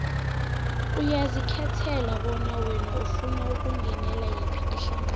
uyazikhethela bona wena ufuna ukungenela yiphi ihlangano